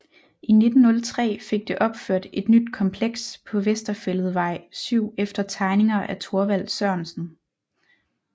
I 1903 fik det opført et nyt kompleks på Vesterfælledvej 7 efter tegninger af Thorvald Sørensen